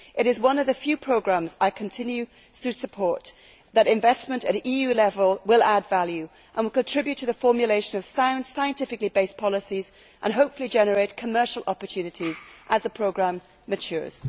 It is one of the few programmes I continue to support, believing that investment at EU level will add value and will contribute to the formulation of sound, scientifically based policies and, hopefully, generate commercial opportunities as the programme matures.